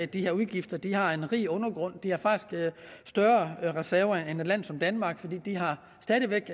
de her udgifter de har en rig undergrund de har faktisk større reserver end et land som danmark for de har stadig væk